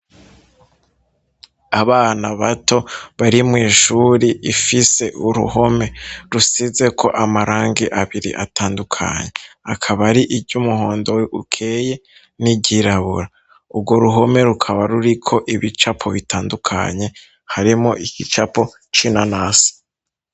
Abana bato bari mw'ishuri ifise uruhome rusize ko amarangi abiri atandukanye akaba ari iry'umuhondo ukeye n'iry'irabura urwo ruhome rukaba ruri ko ibicapo bitandukanye harimwo igicapo c'inanasi.